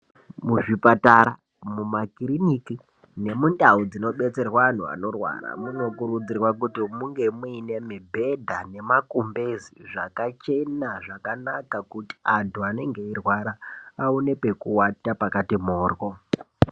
Muzvipatara, mumakirinika nemundau dzinodetserwa antu anorwara munokurudzirwa kuti munge muine mibhedha ngemakumbezi zvakachena, zvakanaka kuti anenge eirwara aonekwe kuvata pakati moro.